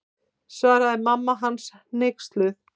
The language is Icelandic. Svaraði mamma hans hneyksluð.